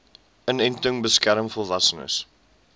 inenting beskerm volwassenes